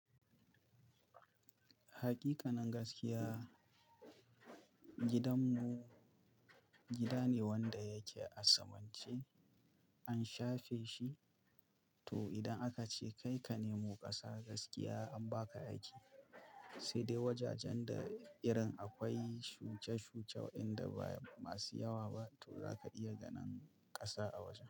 Hakikanin gaskiya gidanmu gida ne wanda yake a saman ce an shafe shi, to idan aka ce kai ka nemo ƙasa gaskiya an ba ka aiki sai dai wajajen da irin akwai shuce-shuce waɗanda ba masu yawa ba to za ka iya ganin ƙasa a wajen.